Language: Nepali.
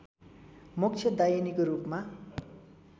मोक्षदायिनीको रूपमा